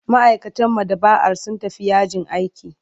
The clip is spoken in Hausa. Ma'aikatan maɗaba'ar sun tafi yajin aiki.